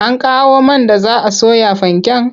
An kawo man da za a soya fanken?